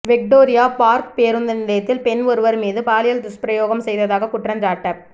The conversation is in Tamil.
விக்டோரியா பார்க் பேருந்து நிலையத்தில் பெண் ஒருவர் மீது பாலியல் துஸ்பிரயோகம் செய்ததாக குற்றஞ்சாட்டப்